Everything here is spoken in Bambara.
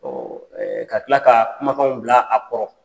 ka tila ka kumakanw bila a kɔrɔ